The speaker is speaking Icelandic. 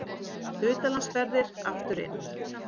Utanlandsferðir aftur inn